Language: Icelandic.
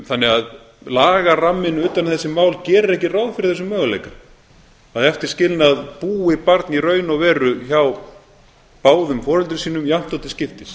þannig að lagaramminn utan um þessi mál gerir ekki ráð fyrir þessum möguleika að eftir skilnað búi barn í raun og veru hjá báðum foreldrum sínum jafnt og til skiptis